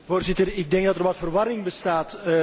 Voorzitter, ik denk dat er wat verwarring bestaat.